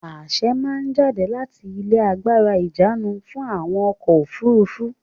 Àṣe máa jáde láti ilé agbára ìjánu fún àwọn ọkọ̀-òfurufú.